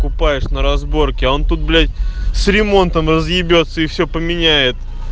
купаюсь на разборке а он тут блять с ремонтом разъебется и все поменяется